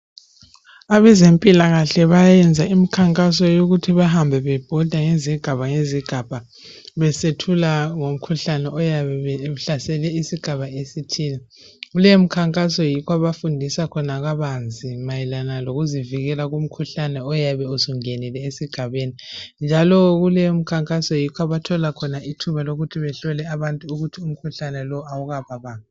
Abazempilakahle bayayenza imikhankaso yokuthi bahambe bebhoda ngezigaba ngezigaba besethula ngomkhuhlane oyabe uhlasele isigaba esithile. Leyo mikhankaso yikho abafundisa khona kabanzi mayelana lokuzivikela kumkhuhlane oyabe usungenile esigabeni, njalo kuleyo mikhankaso yikho abathola khona ithuba lokuthi bahlole abantu ukuthi umkhuhlane lowo awukababambi.